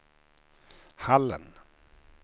Hallen